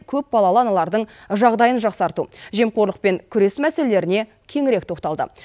көпбалалы аналардың жағдайын жақсарту жемқорлықпен күрес мәселелеріне кеңірек тоқталды